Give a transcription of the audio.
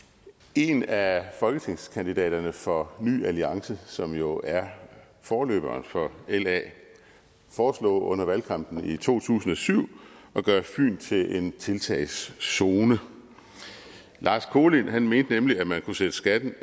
en af folketingskandidaterne for ny alliance som jo er forløberen for la foreslog under valgkampen i to tusind og syv at gøre fyn til en tiltagszone lars kolind mente nemlig at man kunne sætte skatten